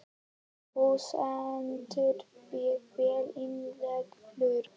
Þú stendur þig vel, Ingileifur!